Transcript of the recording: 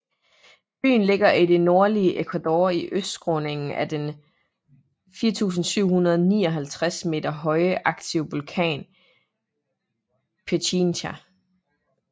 Byen ligger i det nordlige Ecuador i østskråningen af den 4759 m høje aktive vulkan Pichincha